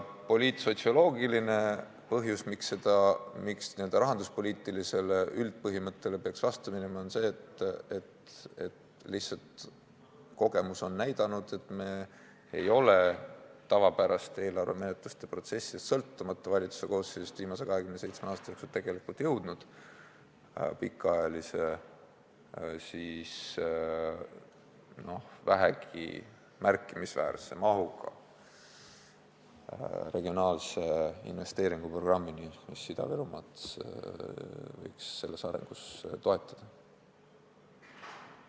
Poliitsotsioloogiline põhjus, miks peaks see minema vastupidi, kui näeb ette n-ö rahanduspoliitiline üldpõhimõte, on see, et lihtsalt kogemus on näidanud, et me ei ole tavapärase eelarvemenetluse protsessis, sõltumata valitsuse koosseisust, viimase 27 aasta jooksul jõudnud vähegi märkimisväärse mahuga pikaajalise regionaalse investeeringuprogrammini, mis Ida-Virumaad võiks arengus toetada.